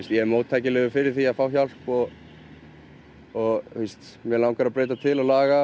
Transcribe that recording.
ég er móttækilegur fyrir því að fá hjálp og og mig langar að breyta til og laga